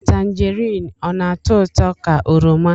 Tangerine ọ na-atọ ụtọ ka oroma?